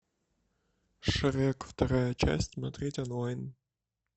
шрек вторая часть смотреть онлайн